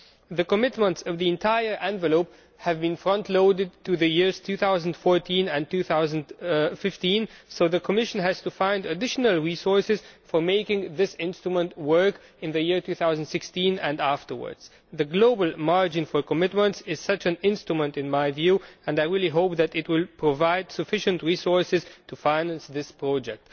The commitments of the entire envelope have been frontloaded to the years 2014 and 2015 so the Commission has to find additional resources to make this instrument work in the year 2016 and afterwards. In my view, the global margin for commitments is such an instrument and I really hope that it will provide sufficient resources to finance this project.